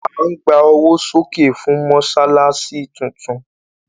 À ń gba owó sókè fún Mọ́ṣáláṣí tún tún